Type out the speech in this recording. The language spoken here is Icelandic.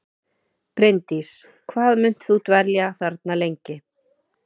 Bryndís: Hvað munt þú dvelja þarna lengi?